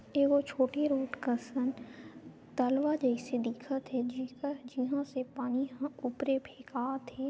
ए वो छोटी रूट कसन तलवा जैसे दिखत हे झिरका जिहा से पानी हा उपरे फेकात हे।